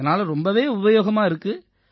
இதனால ரொம்பவே உபயோகமா இருக்கு